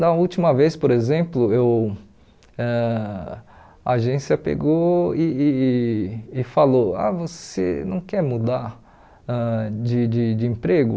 Na última vez, por exemplo, eu ãh a agência pegou e e e falou, ah você não quer mudar ãh de de de emprego?